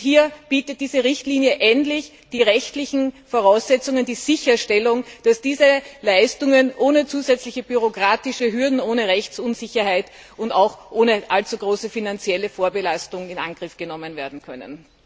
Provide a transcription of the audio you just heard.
Hier bietet diese Richtlinie endlich die rechtlichen Voraussetzungen und die Sicherstellung, dass diese Leistungen ohne zusätzliche bürokratische Hürden, ohne Rechtsunsicherheit und auch ohne allzu große finanzielle Vorbelastung in Angriff genommen werden können.